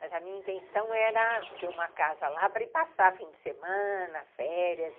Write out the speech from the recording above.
Mas a minha intenção era ter uma casa lá para ir passar fim de semana, férias.